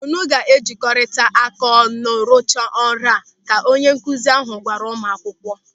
"Unu ga-ejkọrịrịaka ọnụ ruchaa ọrụ a" ka onye nkụzi ahụ gwara ụmụakwụkwọ.